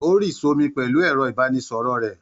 Ó́ rì sómi pẹ̀lú ẹ̀rọ-ìbánisọ̀rọ̀ rẹ̀.